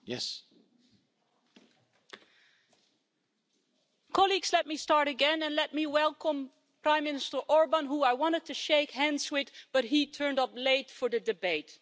Mr President, let me start again and let me welcome Prime Minister Orbán, who I wanted to shake hands with, but he turned up late for the debate.